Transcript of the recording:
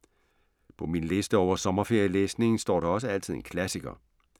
På min liste over sommerferielæsning står der også altid en klassiker.